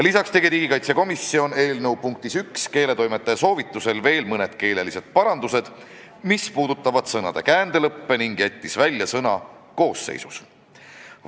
Lisaks tegi komisjon eelnõu punktis 1 keeletoimetaja soovitusel veel mõned keelelised parandused, mis puudutasid sõnade käändelõppe, ning jättis välja sõna "koosseisus".